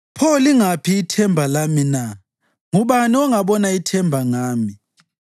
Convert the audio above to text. pho lingaphi ithemba lami na? Ngubani ongabona ithemba ngami?